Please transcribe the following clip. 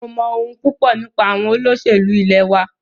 Mo mọ̀ ohun púpọ nípa àwọn olóṣèlú ilẹ̀ wa.